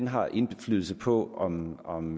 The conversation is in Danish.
har indflydelse på om om